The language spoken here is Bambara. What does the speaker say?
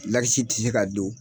ti se ka don.